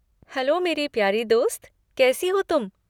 Hello मेरी प्यारे दोस्त, कैसी हो तुम?